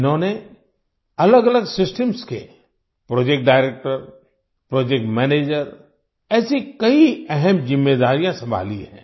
इन्होंने अलगअलग सिस्टम्स के प्रोजेक्ट डायरेक्टर प्रोजेक्ट मैनेजर ऐसी कई अहम जिम्मेदारियां संभाली हैं